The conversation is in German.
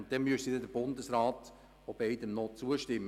Danach müsste der Bundesrat wieder dem Projekt zustimmen.